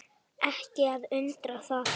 Ekki að undra það.